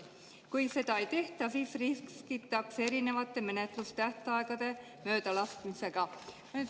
Kui seda ei tehta, siis riskitakse erinevate menetlustähtaegade möödalaskmisega.